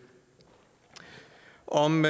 om